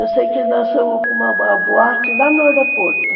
Eu sei que lançamos para uma boate lá no aeroporto.